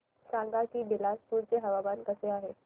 सांगा की बिलासपुर चे हवामान कसे आहे